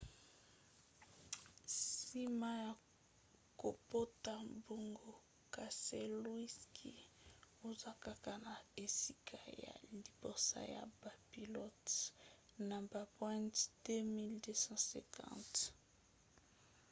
nsima ya kopota mbango keselowski aza kaka na esika ya liboso ya bapilote na bapoint 2 250